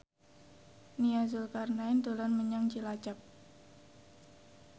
Nia Zulkarnaen dolan menyang Cilacap